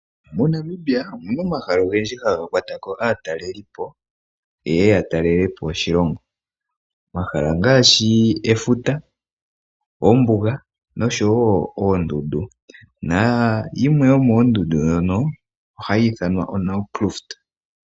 MoNamibia omuna omahala ogendji haga kwata ko aatalelipo, yeye ya talelepo oshilongo. Omahala ngaashi efuta, ombuga noshowo oondundu na yimwe yomoondundu ndhono ohayi ithanwa oNamcruist.